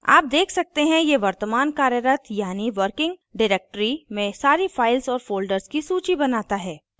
आप आप देख सकते हैं यह वर्तमान कार्यरत यानी working directory में सारी files और folders की सूची बनाता है